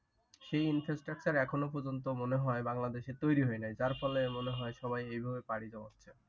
সেই infrastructure এখনো পর্যন্ত মনে হয় বাংলাদেশে তৈরী হয় নাই যার ফলে মনে হয় সবাই এই ভাবে পাড়ি জমাচ্ছে।